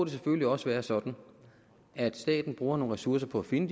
selvfølgelig også være sådan at staten bruger nogle ressourcer på at finde